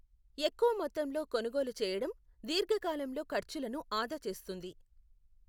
ఎక్కువ మొత్తంలో కొనుగోలు చేయడం దీర్ఘకాలంలో ఖర్చులను ఆదా చేస్తుంది.